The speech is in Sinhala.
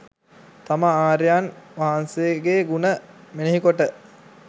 තම ආර්යයන් වහන්සේගේ ගුණ මෙනෙහි කොට